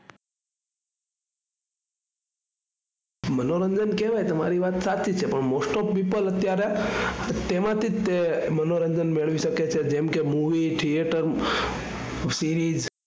મનોરંજન કેવાય તમારી વાત સાચી છે પણ most of people અત્યારે તેમાંથી જ તે મનોરંજન મેળવી શકે છે જેમ કે movie, theater, series